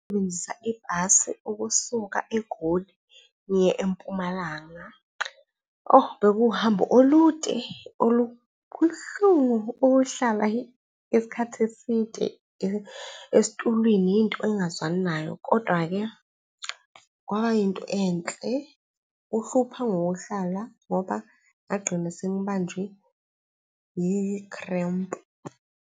Ngasebenzisa ibhasi ukusuka eGoli ngiye eMpumalanga. Bekuwuhambo olude . Kubuhlungu ukuhlala isikhathi eside esitulwini into engingazwani nayo. Kodwa-ke kwaba yinto enhle kuhlupha ngokuhlala ngoba ngagqina sengibanjwe yi-cramp.